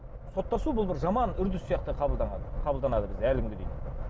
соттасу бұл бір жаман үрдіс сияқты қабылдаған қабылданады бізде әлі күнге дейін